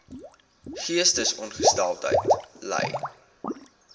geestesongesteldheid ly